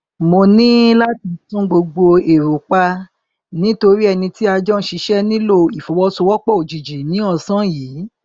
mo ní láti tún gbogbo èrò pa nítorí ẹni tí a jọ n ṣiṣẹ nílò ìfọwọsowọpọ òjijì ní ọsán yìí